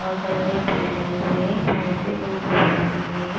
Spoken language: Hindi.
बहोत बड़े-बड़े पेड़ लगे हुए हैं साइड में दो बोर्ड लगे हुए हैं।